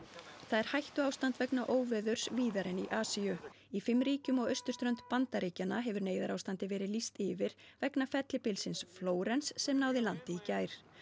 það er hættuástand vegna óveðurs víðar en í Asíu í fimm ríkjum á austurströnd Bandaríkjanna hefur neyðarástandi verið lýst yfir vegna fellibylsins Flórens sem náði landi í gær